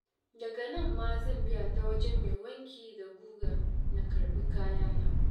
Daga nan ma zan biya ta wajen mai wanki da guga na karɓi kayana.